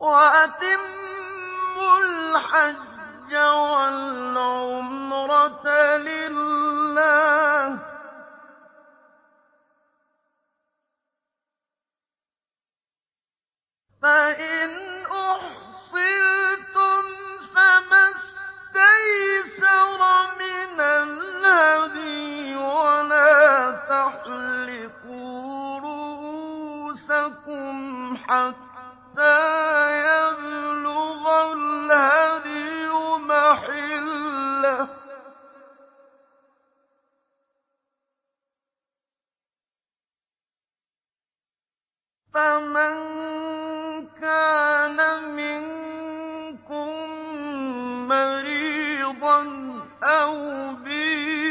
وَأَتِمُّوا الْحَجَّ وَالْعُمْرَةَ لِلَّهِ ۚ فَإِنْ أُحْصِرْتُمْ فَمَا اسْتَيْسَرَ مِنَ الْهَدْيِ ۖ وَلَا تَحْلِقُوا رُءُوسَكُمْ حَتَّىٰ يَبْلُغَ الْهَدْيُ مَحِلَّهُ ۚ فَمَن كَانَ مِنكُم مَّرِيضًا أَوْ بِهِ